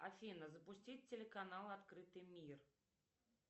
афина запустить телеканал открытый мир